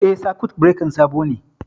Eh, sakut birekan sabo ne